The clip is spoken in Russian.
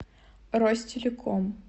ростелеком